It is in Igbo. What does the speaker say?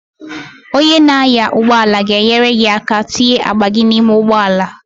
Onye na-anya ụgbọala ga-enyere gị aka itinye akpa gị n'ime ụgbọala.